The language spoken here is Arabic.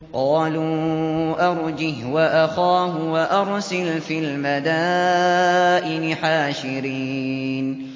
قَالُوا أَرْجِهْ وَأَخَاهُ وَأَرْسِلْ فِي الْمَدَائِنِ حَاشِرِينَ